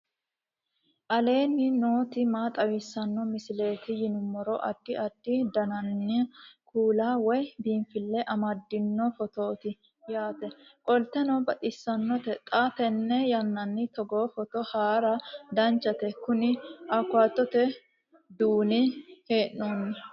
aleenni nooti maa xawisanno misileeti yinummoro addi addi dananna kuula woy biinfille amaddino footooti yaate qoltenno baxissannote xa tenne yannanni togoo footo haara danchate kuni awukaatote duunne hee'noonni